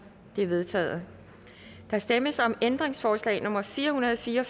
de er vedtaget der stemmes om ændringsforslag nummer fire hundrede og fire og